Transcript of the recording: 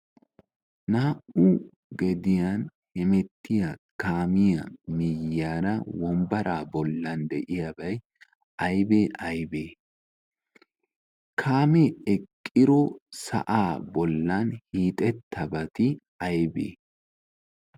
naa77u gediyan hemettiya kaamiya miyyaara wombbaraa bollan de7iyaabai aibee aibe? kaamee eqqiro sa7aa bollan hiixettabati aibe?